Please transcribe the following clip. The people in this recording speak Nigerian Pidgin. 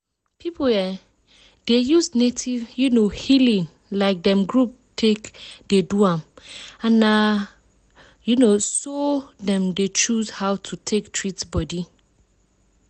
people um dey use native um healing like dem group take dey do am and na um so dem dey choose how to take treat body.